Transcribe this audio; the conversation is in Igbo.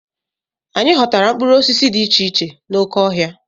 Anyị ghọtara mkpụrụ osisi dị iche iche n'oké ọhịa.